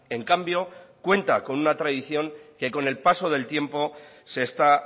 en cambio cuenta con una tradición que con el paso del tiempo se está